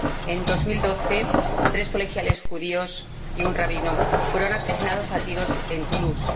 En 2012, tres colegiales judíos y un rabino fueron asesinados a tiros en Toulouse.